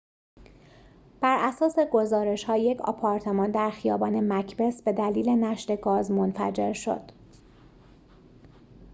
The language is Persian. براساس گزارش‌ها یک آپارتمان در خیابان مکبث به دلیل نشت گاز منفجر شد